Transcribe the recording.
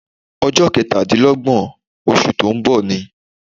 Ọjọ́ kẹtàdínlọ́gbọ̀n oṣù tó ń bọ̀ ni.